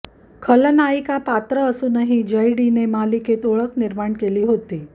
खलनायिका पात्र असूनही जयडीने मालिकेत ओळख निर्माण केली होती